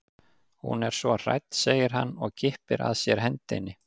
Hún er svona hrædd segir hann og kippir að sér hendinni.